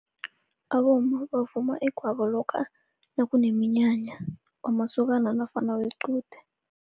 Abomma bavuma igwabo lokha nakuneminyanya, wamasokana nofana wequde.